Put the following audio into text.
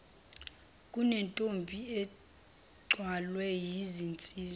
kunentombi ethwalwe yizinsizwa